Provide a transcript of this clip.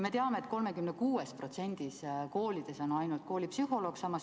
Me teame, et ainult 36% koolides on koolipsühholoog.